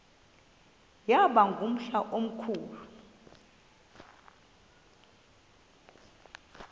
yaba ngumhla omkhulu